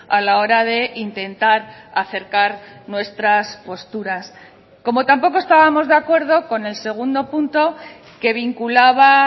a la hora de intentar acercar nuestras posturas como tampoco estábamos de acuerdo con el segundo punto que vinculaba